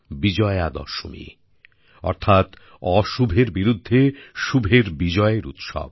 বিজয়া দশমী অর্থাৎ অশুভের বিরুদ্ধে শুভর বিজয়ের উৎসব